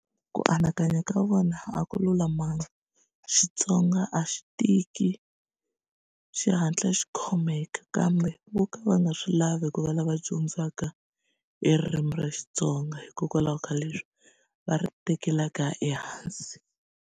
Ku anakanya ka vona a ku lulamanga Xitsonga a xi tiki xi hatla xi khomeka kambe vo ka va nga swi lavi ku va lava dyondzaka eririmi ra Xitsonga hikokwalaho ka leswi va ri tekelaka ehansi.